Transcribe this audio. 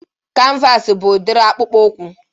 Kanvas bụ udiri akpụkpọ ụkwụ